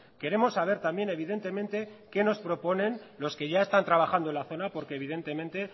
queremos saber también evidentemente qué nos proponen los que ya están trabajando en la zona porque evidentemente